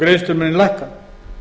greiðslur muni lækka